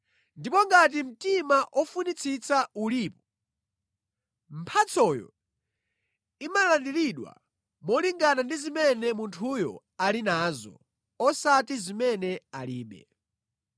Ndipo ngati mtima ofunitsitsa ulipo, mphatsoyo imalandiridwa molingana ndi zimene munthuyo ali nazo, osati zimene alibe.